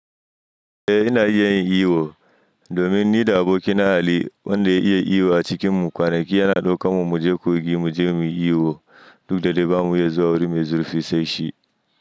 Eh ina iya yin iyo, domin ni da abokina Ali wanda ya iya iyo a cikinmu. Kwanaki yana ɗaukan mu mu je kogin mu je mu yi iyo duk da da ba mu iya zuwa wuri mai zurfi sai shi.